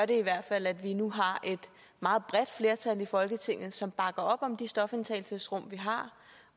det i hvert fald at vi nu har et meget bredt flertal i folketinget som bakker op om de stofindtagelsesrum vi har